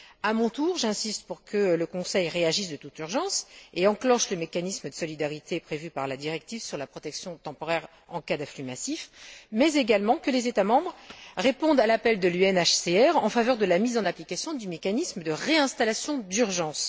À mon tour, j'insiste pour que le Conseil réagisse de toute urgence et enclenche le mécanisme de solidarité prévu par la directive sur la protection temporaire en cas d'afflux massif, mais également que les États membres répondent à l'appel de l'UNHCR en faveur de la mise en application du mécanisme de réinstallation d'urgence.